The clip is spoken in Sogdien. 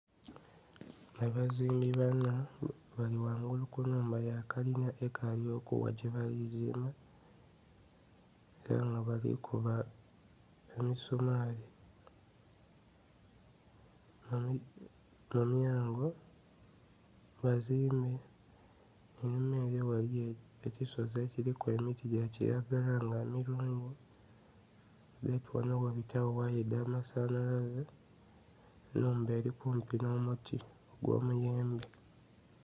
Abazimbi banna bali ghangulu ku nhumba yakalina ekali okugha gyebali zimba era nga balikuba emisumali mu myango bazimbe einhuma ere ghaliyo emiti gya kilagala nga mirungi nhi ghano ghabitagho waya dha masanhalaze, enhumba eri kumpi nho muti gwo miyembe.